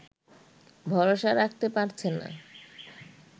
ভরসা রাখতে পারছে না